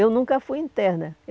Eu nunca fui interna.